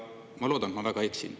Ma loodan, et ma väga eksin.